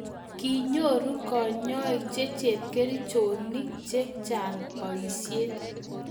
kinyoru kanyoik che chepkerichonik che chang' boisie